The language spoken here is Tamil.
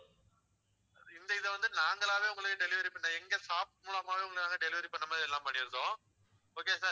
இந்த இதை வந்து நாங்களாவே உங்களுக்கு delivery பண்றோம் எங்க staff மூலமாவே உங்களுக்கு நாங்க delivery பண்ண மாதிரி எல்லாம் பண்ணியிருக்கோம் okay யா sir